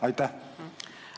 Aitäh!